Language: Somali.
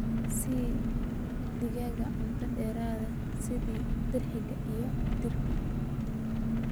Sii digaagga cunto dheeraad ah sida dirxiga iyo diirka.